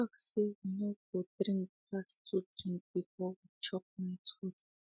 i talk say we no go drink pass 2 drinks before we chop night food